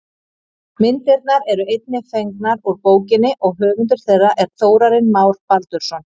Myndirnar eru einnig fengnar úr bókinni og höfundur þeirra er Þórarinn Már Baldursson.